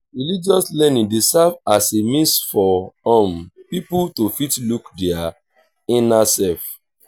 religious learning dey serve as a means for um pipo to fit look their inner self